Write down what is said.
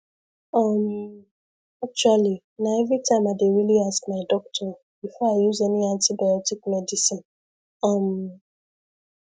um actually na everytime i dey really ask my doctor before i use any antibiotic medicine um